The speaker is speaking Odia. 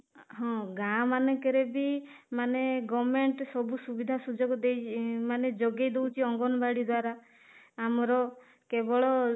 ହଁ, ଗାଁ ମାନଙ୍କରେ ବି ମାନେ government ସବୁ ସୁବିଧା ସୁଯୋଗ ଦେଇଛି ମାନେ ଯୋଗେଇଦେଉଛି ଅଙ୍ଗନବାଡି ଦ୍ୱାରା ଆମର କେବଳ